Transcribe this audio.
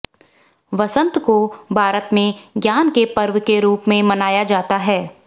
वसंत को भारत में ज्ञान के पर्व के रूप में मनाया जाता है